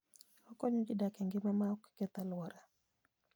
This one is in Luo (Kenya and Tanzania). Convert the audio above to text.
Okonyo ji dak e ngima maok keth alwora.